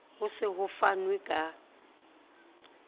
ho se ho fanwe ka